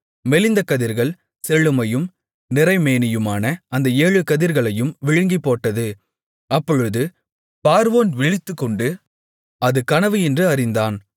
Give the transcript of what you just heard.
மெலிந்த கதிர்கள் செழுமையும் நிறை மேனியுமான அந்த ஏழு கதிர்களையும் விழுங்கிப்போட்டது அப்பொழுது பார்வோன் விழித்துக்கொண்டு அது கனவு என்று அறிந்தான்